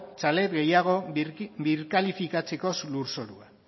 txalet gehiago birkalifikatzeko lurzorua